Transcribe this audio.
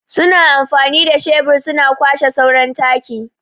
Su na amfanin da shebur su na kwashe sauran taki.